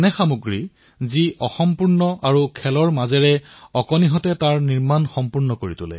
এনে খেলাসামগ্ৰী যি আধৰুৱা আৰু শিশুসকলে মিলি খেলৰ মাজেৰে ইয়াক পূৰণ কৰে